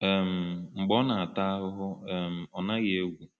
um Mgbe ọ na-ata ahụhụ, um ọ naghị egwu.”